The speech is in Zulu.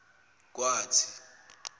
kwathi